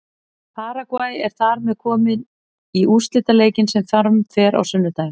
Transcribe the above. Paragvæ er þar með komið í úrslitaleikinn sem fram fer á sunnudaginn.